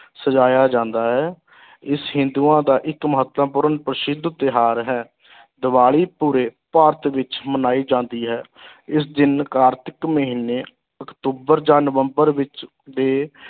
ਸਜਾਇਆ ਜਾਂਦਾ ਹੈ ਇਸ ਹਿੰਦੂਆਂ ਦਾ ਇੱਕ ਮਹੱਤਵਪੂਰਨ ਪ੍ਰਸਿੱਧ ਤਿਉਹਾਰ ਹੈ ਦੀਵਾਲੀ ਪੂਰੇ ਭਾਰਤ ਵਿੱਚ ਮਨਾਈ ਜਾਂਦੀ ਹੈ ਇਸ ਦਿਨ ਕਾਰਤਿਕ ਮਹੀਨੇ ਅਕਤੂਬਰ ਜਾਂ ਨਵੰਬਰ ਵਿੱਚ ਦੇ